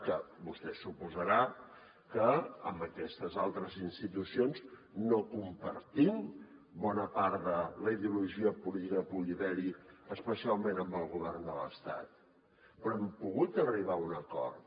que vostè deu suposar que amb aquestes altres institucions no compartim bona part de la ideologia política que pugui haver hi especialment amb el govern de l’estat però hem pogut arribar a un acord